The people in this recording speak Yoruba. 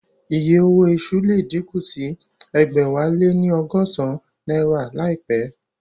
Iye owó iṣu le díkù sí ẹgbẹ̀wáléní ọgọ́san náírà láìpẹ́